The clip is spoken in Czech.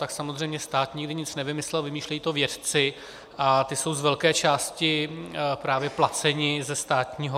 Tak samozřejmě stát nikdy nic nevymyslel, vymýšlejí to vědci a ti jsou z velké části právě placeni ze státního.